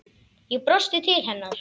Ég brosti til hennar.